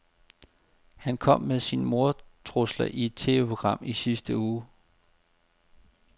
Han kom med sine mordtrusler i et TVprogram i sidste uge.